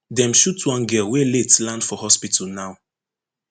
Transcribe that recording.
dem shoot one girl wey late land for hospital now